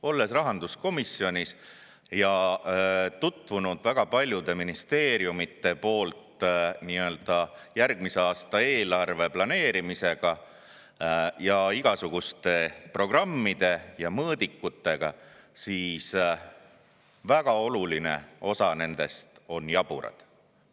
Olles rahanduskomisjoni liige ja tutvunud väga paljude ministeeriumide järgmise aasta eelarve planeerimisega, igasuguste programmide ja mõõdikutega, väga oluline osa nendest on jaburad.